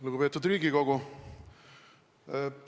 Lugupeetud Riigikogu!